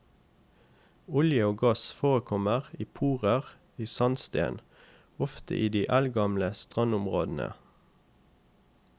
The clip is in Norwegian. Olje og gass forekommer i porer i sandsten, ofte i de eldgamle strandområdene.